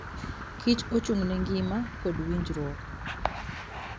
kich ochung'ne ngima kod winjruok.